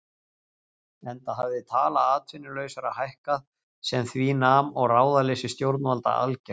Enda hafði tala atvinnulausra hækkað sem því nam og ráðaleysi stjórnvalda algert.